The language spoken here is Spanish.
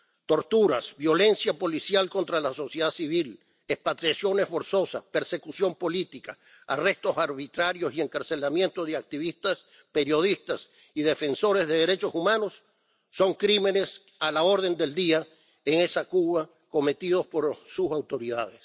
Torturas, violencia policial contra la sociedad civil, expatriaciones forzosas, persecución política, arrestos arbitrarios y encarcelamiento de activistas, periodistas y defensores de los derechos humanos son crímenes a la orden del día cometidos en esa Cuba por sus autoridades.